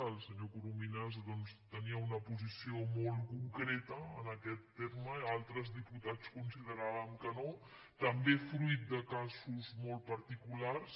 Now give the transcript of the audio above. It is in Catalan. el senyor corominas doncs tenia una posició molt concreta en aquest terme altres diputats consideràvem que no també fruit de casos molt particulars